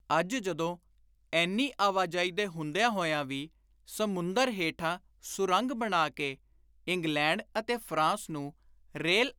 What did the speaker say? ਅੱਜ ਜਦੋਂ ਏਨੀ ਆਵਾਜਾਈ ਦੇ ਹੁੰਦਿਆਂ ਹੋਇਆਂ ਵੀ ਸਮੁੰਦਰ ਹੇਠਾਂ ਸੁਰੰਗ ਬਣਾ ਕੇ ਇੰਗਲੈਂਡ ਅਤੇ ਫ਼ਰਾਂਸ ਨੂੰ ਰੇਲ